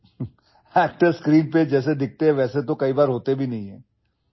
অভিনেতাসকল প্ৰায়ে পৰ্দাত দেখাত কেনেকুৱা নহয়নে